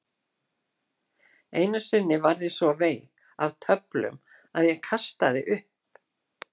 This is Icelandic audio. Einu sinni varð ég svo veik af töflunum að ég kastaði upp.